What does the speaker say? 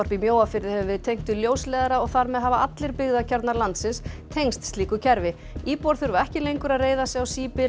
í Mjóafirði hefur verið tengt við ljósleiðara og þar með hafa allir byggðakjarnar landsins tengst slíku kerfi íbúar þurfa ekki lengur að reiða sig á